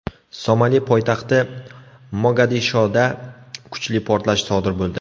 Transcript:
Somali poytaxti Mogadishoda kuchli portlash sodir bo‘ldi.